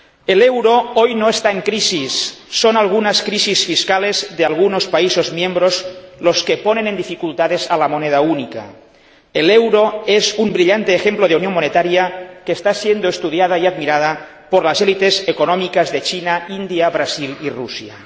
El euro, hoy, no está en crisis, son algunas crisis fiscales de algunos países miembros las que ponen en dificultades a la moneda única. El euro es un brillante ejemplo de unión monetaria que está siendo estudiada y admirada por las élites económicas de China, India, Brasil y Rusia.